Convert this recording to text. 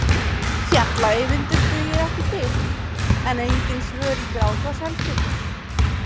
Fjalla-Eyvindur dugir ekki til, en engin svör í Grágás heldur.